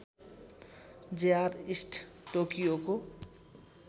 JR East टोकियोको